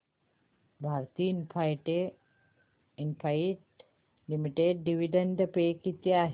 Bharti Infratel limited dividend pay किती आहे